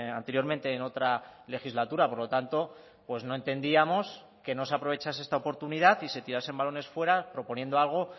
anteriormente en otra legislatura por lo tanto pues no entendíamos que no se aprovechase esta oportunidad y se tirasen balones fuera proponiendo algo